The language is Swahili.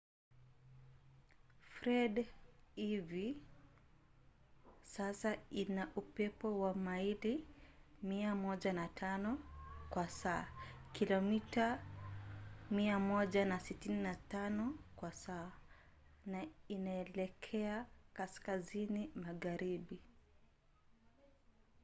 fred hivi sasa ina upepo wa maili 105 kwa saa kilomita 165 kwa saa na inaelekea kaskazini magharibi